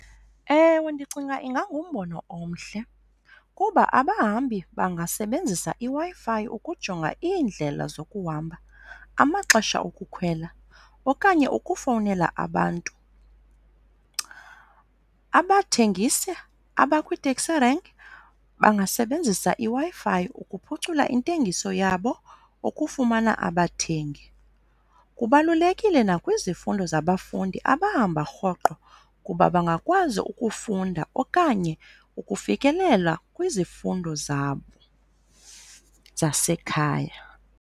Ewe, ndicinga ingangumbono omhle kuba abahambi bangasebenzisa iWi-Fi ukujonga iindlela zokuhamba, amaxesha okukhwela, okanye ukufowunela abantu. Abathengisi abakwii-taxi rank bangasebenzisa iWi-Fi ukuphucula intengiso yabo ukufumana abathengi. Kubalulekile nakwizifundo zabafundi abahamba rhoqo kuba bangakwazi ukufunda okanye ukufikelela kwizifundo zabo zasekhaya.